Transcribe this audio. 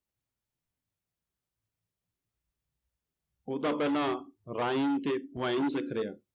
ਉਹ ਤਾਂ ਪਹਿਲਾਂ rhyme ਤੇ poem ਸਿੱਖ ਰਿਹਾ।